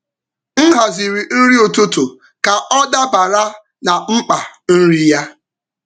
M haziri nri um ụtụtụ ụtụtụ ka um ọ dabara na mkpa nri um ya.